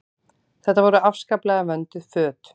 Þetta voru afskaplega vönduð föt.